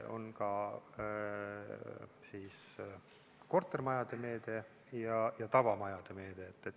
On kortermajade meede ja tavamajade meede.